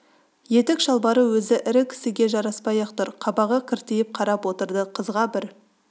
етік шалбары өзі ірі кісіге жараспай-ақ тұр қабағы кіртиіп қарап отырды қызға бір